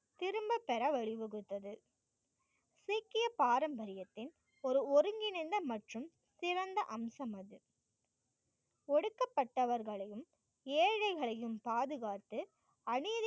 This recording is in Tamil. திரும்பப் பெற வழிவகுத்தது. சீக்கிய பாரம்பரியத்தின் ஒரு ஒருங்கிணைந்த மற்றும் சிறந்த அம்சங்கள் ஒடுக்கப்பட்டவர்களையும் ஏழைகளையும் பாதுகாத்து